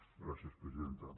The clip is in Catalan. gràcies presidenta